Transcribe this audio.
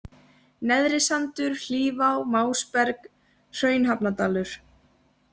Neðrisandur, Hlífá, Másberg, Hraunhafnardalur